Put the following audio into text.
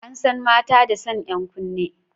An san mata da sanya 'yan kunne.